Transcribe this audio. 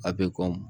A bɛ kɔn